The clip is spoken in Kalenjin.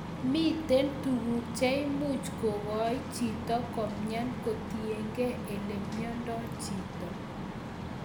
Miten tuguk che imuch kogoi chito komyan kotienkei ele mengdo chito